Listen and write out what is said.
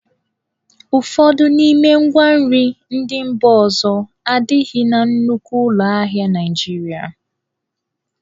Ụfọdụ n'ime ngwa nri ndị mba ọzọ adịghị na nnukwu ụlọ ahịa Naịjirịa.